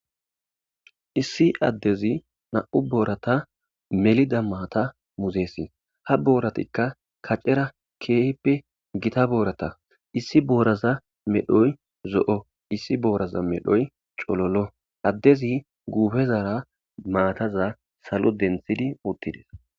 issi addezi na'u boorata melida maata muzeesi ha booratikka kacera keehippe gita boorata issi booraza medhoy zo'o issi booraza medhoy cololo addezi guufezara maataza salo denthidi uttides